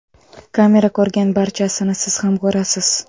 Kamera ko‘rgan barchasini siz ham ko‘rasiz.